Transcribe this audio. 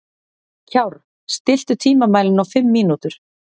Kjárr, stilltu tímamælinn á fimm mínútur.